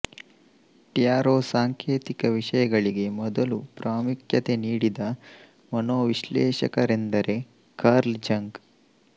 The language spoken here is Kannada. ಟ್ಯಾರೋ ಸಾಂಕೇತಿಕ ವಿಷಯಗಳಿಗೆ ಮೊದಲು ಪ್ರಾಮುಖ್ಯತೆ ನೀಡಿದ ಮನೋವಿಶ್ಲೇಷಕರೆಂದರೆ ಕಾರ್ಲ್ ಜಂಗ್